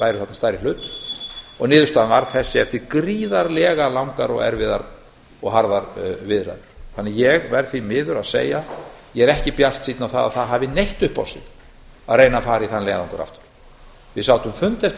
stærri hlut niðurstaðan varð þessi eftir gríðarlega langar erfiðar og harðar viðræður ég verð því miður að segja að ég er ekki bjartsýnn á að það hafi neitt upp á sig að reyna að fara í þann leiðangur aftur við sátum fund eftir fund